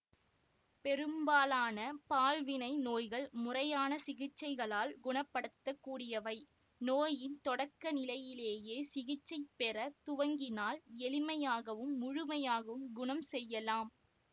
பெரும்பாலான பால்வினை நோய்கள் முறையான சிகிச்சைகளால் குணப்படுத்தக்கூடியவை நோயின் தொடக்கநிலையிலேயே சிகிச்சை பெற துவங்கினால் எளிமையாகவும் முழுமையாகவும் குணம் செய்யலாம்